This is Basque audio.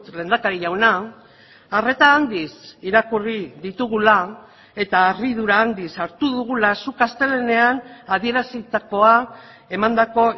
lehendakari jauna arreta handiz irakurri ditugula eta harridura handiz hartu dugula zuk astelehenean adierazitakoa emandako